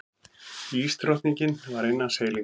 Ísdrottningin var innan seilingar.